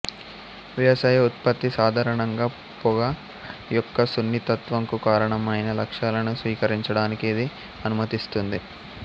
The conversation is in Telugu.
వ్యవసాయ ఉత్పత్తి సాధారణంగా పొగ యొక్క సున్నితత్వం కు కారణమైన లక్షణాలను స్వీకరించడానికి ఇది అనుమతిస్తుంది